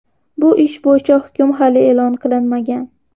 Bu ish bo‘yicha hukm hali e’lon qilinmagan.